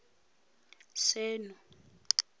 seno